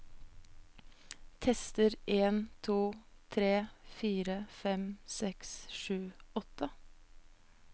Tester en to tre fire fem seks sju åtte